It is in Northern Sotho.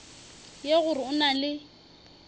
ye gore o na le